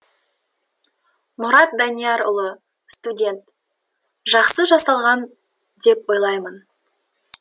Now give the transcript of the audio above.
мұрат даниярұлы студент жақсы жасалған деп ойлаймын